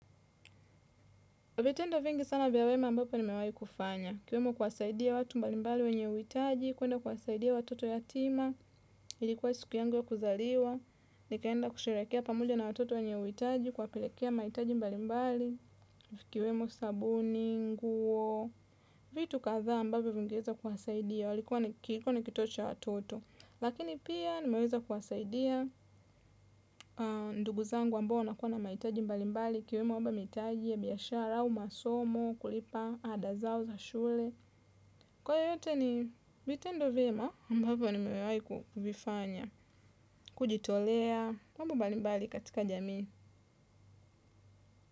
Vitendo vingi sana vya wema ambapo nimewahi kufanya, ikiwemo kuwasaidia watu mbali mbali wenye uhitaji, kuenda kuwasaidia watoto yatima, ilikuwa siku yangu ya kuzaliwa, nikaenda kusherekea pamoja na watoto wenye uhitaji, kuwapelekea mahitaji mbali mbali, ikiwemo sabuni nguo, vitu kadhaa ambavyo vingeweza kuwasaidia, kilikuwa ni kito cha watoto. Lakini pia nimeweza kuwasaidia ndugu zangu ambao wanakuwa na mahitaji mbalimbali ikiwemo mahitaji ya biashara au masomo kulipa ada zao za shule. Kwa yote ni vitendo vyema ambavyo nimewai kuvifanya, kujitolea, mambo mbali mbali katika jamii.